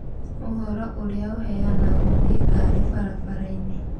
ũhoro ũrĩa ũheanagwo nĩ ngari barabarai-nĩ.